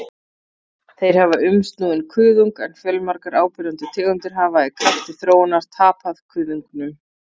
Þeir hafa umsnúinn kuðung en fjölmargar áberandi tegundir hafa í krafti þróunar tapað kuðungnum.